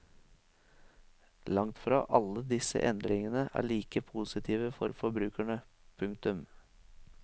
Langtfra alle disse endringene er like positive for forbrukerne. punktum